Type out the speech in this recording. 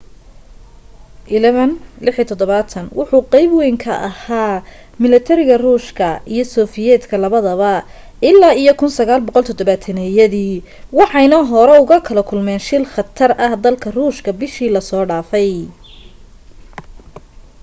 il-76 wuxu qayb wayn ka ahaa milatariga ruushka iyo sofiyeetka labadaba ilaa iyo 1970-yadii waxayna hore ugala kulmeen shil khatar dalka ruushka bishii la soo dhaafay